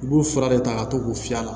U b'u fura de ta ka to k'u fiyɛ a la